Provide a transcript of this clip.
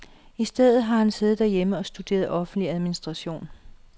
I stedet har han siddet hjemme og studeret offentlig administration.